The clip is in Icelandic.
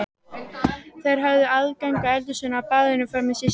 Þær höfðu aðgang að eldhúsinu og baðinu frammi, systurnar.